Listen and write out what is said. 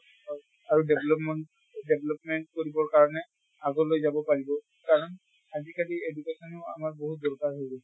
হয় । আৰু development, development কৰিব কাৰণে আগলৈ যাব কাৰণ, আজিকালি education ও আমাৰ বহুত দৰকাৰ হৈ গৈছে ।